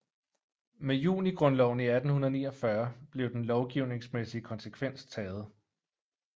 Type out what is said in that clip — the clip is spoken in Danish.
Med Junigrundloven i 1849 blev den lovgivningsmæssige konsekvens taget